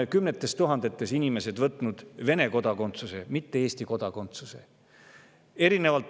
Kümned tuhanded inimesed on võtnud Vene kodakondsuse, mitte Eesti kodakondsuse.